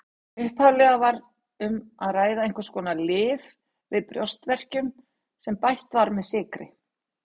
Upphaflega var um að ræða einhvers konar lyf við brjóstverkjum sem bætt var með sykri.